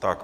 Tak.